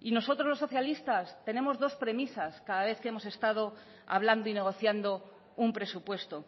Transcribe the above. y nosotros los socialistas tenemos dos premisas cada vez que hemos estado hablando y negociando un presupuesto